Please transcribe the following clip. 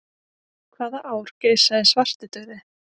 Hvaða ár geisaði svartidauði?